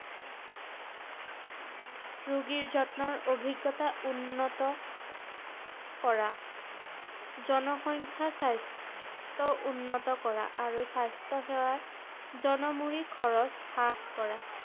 ৰোগীৰ যত্নৰ অভিজ্ঞতা উন্নত কৰা, জনসংখ্যা স্বাস্থ্য উন্নত কৰা আৰু স্বাস্থ্য সেৱাৰ জনমূৰি খৰচ হ্ৰাস কৰা ৷